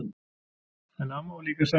En amma var líka sæt.